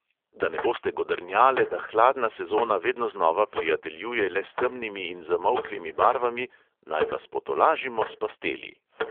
Da ne boste godrnjale, da hladna sezona vedno znova prijateljuje le s temnimi in zamolklimi barvami, naj vas potolažimo s pasteli.